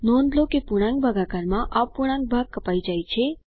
નોંધ લો કે પૂર્ણાંક ભાગાકાર માં અપૂર્ણાંક ભાગ કપાય જાય છે